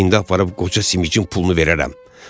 İndi aparıb qoca simicin pulunu verərəm.